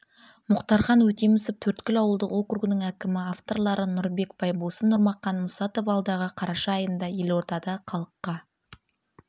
мұхтархан өтемісов төрткүл ауылдық округінің әкімі авторлары нұрбек байбосын нұрмахан мұсатов алдағы қараша айында елордада халыққа